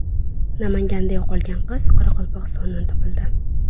Namanganda yo‘qolgan qiz Qoraqalpog‘istondan topildi.